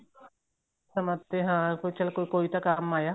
ਸਮਝ ਕੇ ਵੀ ਹਾਂ ਚੱਲ ਕੋਈ ਤਾਂ ਕੰਮ ਆਇਆ